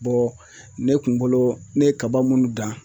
ne kun bolo ne ye kaba minnu dan